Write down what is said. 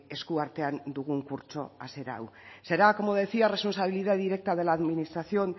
eskuartean dugun kurtso hasiera hau será como decía responsabilidad directa de la administración